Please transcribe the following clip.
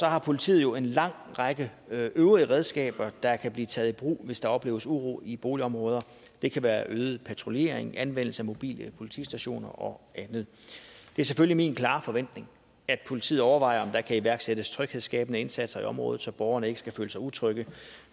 har politiet jo en lang række øvrige redskaber der kan blive taget i brug hvis der opleves uro i boligområder det kan være øget patruljering anvendelse af mobile politistationer og andet det er selvfølgelig min klare forventning at politiet overvejer om der kan iværksættes tryghedsskabende indsatser i området så borgerne ikke skal føle sig utrygge